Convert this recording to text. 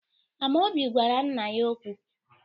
Amaobi gwara nna ya okwu.